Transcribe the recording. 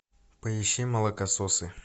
поищи молокососы